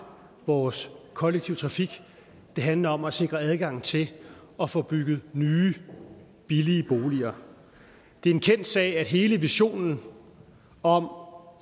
vores kollektive trafik og det handler om at sikre adgang til at få bygget nye billige boliger det er en kendt sag at hele visionen om